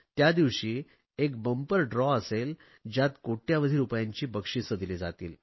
त्यादिवशी एक महासोडत असेल ज्यात कोट्यवधी रुपयांची बक्षिसे दिली जातील